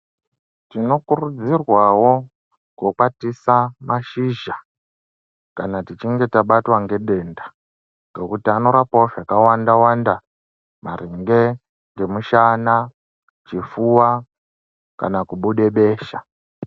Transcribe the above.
Tinokurudzirwawo kukwatisa mashizha kana tichinge tabatwa ngedenda ngekuti anorapawo zvakawanda wanda maringe ngemushana ,chifuwa kana kubude besha .